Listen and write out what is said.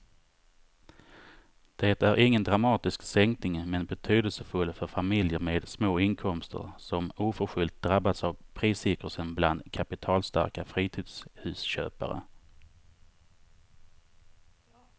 Det är ingen dramatisk sänkning men betydelsefull för familjer med små inkomster som oförskyllt drabbats av priscirkusen bland kapitalstarka fritidshusköpare.